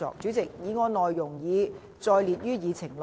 主席，議案內容已載列於議程內。